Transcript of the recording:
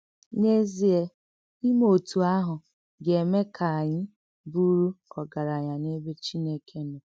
N’èzíè, ìmè òtú àhụ̀ gà-èmè kà ànyị bùrù ògaránya n’èbè Chìnèké nọ.